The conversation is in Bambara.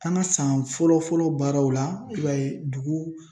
An ka san fɔlɔ fɔlɔ baaraw la i b'a ye dugu